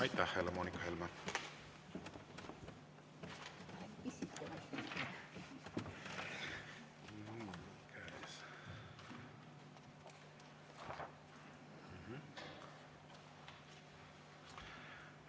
Aitäh, Helle-Moonika Helme!